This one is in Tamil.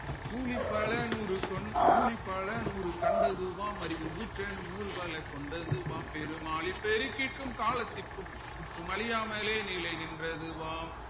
ஊழிப் பல நூறு கொண் ஊழிப் பல நூறு கண்டதூவாம் அறிவு ஊற்றேனும் நூல்களை கொண்டதுவாம் பெரும் ஆழிப்பெருக்கிற்கும் காலத்திற்கும் முற்றும் அழியாமலே நிலைநின்றதுவாம்